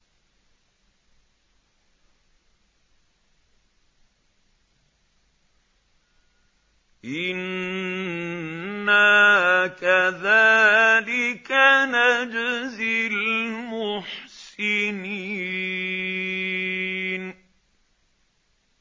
إِنَّا كَذَٰلِكَ نَجْزِي الْمُحْسِنِينَ